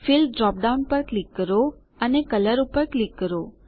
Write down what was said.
fill drop down પર click કરો અને કલર પર ક્લિક કરો